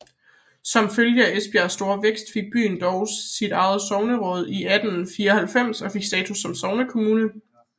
Som følge af Esbjergs store vækst fik byen dog sit eget sogneråd i 1894 og fik status som sognekommune